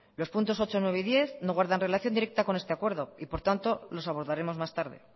los puntos ocho nueve y diez no guardan relación directa con este acuerdo y por tanto los abordaremos más tarde